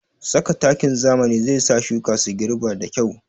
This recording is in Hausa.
Saka takin zamani zai sa shuka su girɓa da kyau